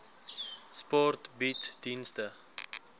sport bied dienste